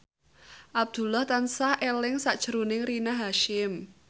Abdullah tansah eling sakjroning Rina Hasyim